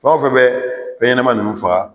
Fɛn o fɛn bɛ fɛn ɲɛnama ninnu faga